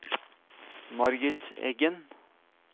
Margit Eggen